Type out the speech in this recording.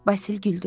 Basil güldü.